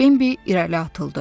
Bambi irəli atıldı.